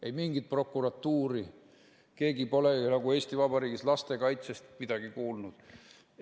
Ei mingit prokuratuuri, keegi nagu pole Eesti Vabariigis lastekaitsest midagi kuulnud.